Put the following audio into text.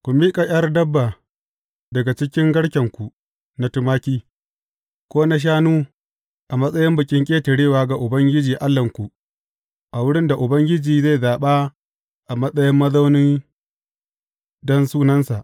Ku miƙa ’yar dabba daga cikin garkenku na tumaki, ko na shanu a matsayin Bikin Ƙetarewa ga Ubangiji Allahnku a wurin da Ubangiji zai zaɓa a matsayin mazauni don Sunansa.